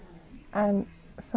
en